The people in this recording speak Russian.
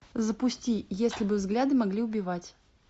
запусти если бы взгляды могли убивать